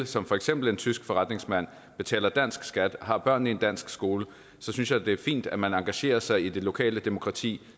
som for eksempel en tysk forretningsmand betaler dansk skat og har børnene i en dansk skole så synes jeg da det er fint at man engagerer sig i det lokale demokrati